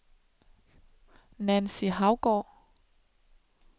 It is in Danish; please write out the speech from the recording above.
Nancy Haugaard